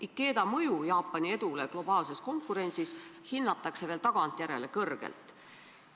Ikeda mõju Jaapani edule globaalses konkurentsis hinnatakse ka tagantjärele kõrgelt.